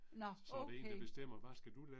Nåh okay